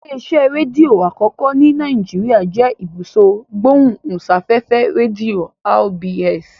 Ilé-iṣẹ́ rédíò àkọ́kọ́ ní Nàìjíríà jẹ́ Ibùsọ̀ Ìgbóhùsáfẹ́fẹ́ Rédíò (RBS).